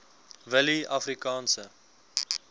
willieafrikaanse